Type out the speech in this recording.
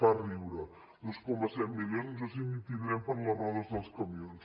fa riure dos coma set milions no sé ni si en tindrem per a les rodes dels camions